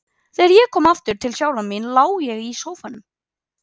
Þegar ég kom aftur til sjálfrar mín lá ég í sófanum.